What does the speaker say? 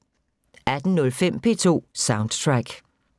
18:05: P2 Soundtrack